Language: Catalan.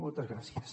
moltes gràcies